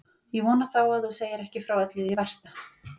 Ég vona þá að þú segir ekki frá öllu því versta.